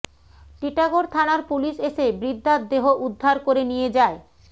টিটাগড় থানার পুলিশ এসে বৃদ্ধার দেহ উদ্ধার করে নিয়ে যায়